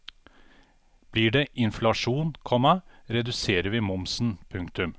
Blir det inflasjon, komma reduserer vi momsen. punktum